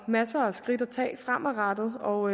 masser af skridt at tage fremadrettet og